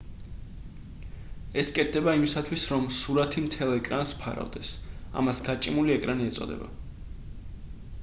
ეს კეთდება იმისათვის რომ სურათი მთელ ეკრანს ფარავდეს ამას გაჭიმული ერკანი ეწოდება